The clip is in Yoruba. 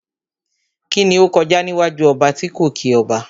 Kíni ó kọjá níwájú ọba tí kò kí ọba?